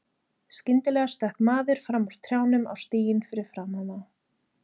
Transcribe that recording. Skyndilega stökk maður fram úr trjánum á stíginn fyrir framan þá.